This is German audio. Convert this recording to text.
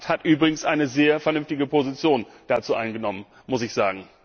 Der Rat hat übrigens eine sehr vernünftige Position dazu eingenommen, das muss ich sagen.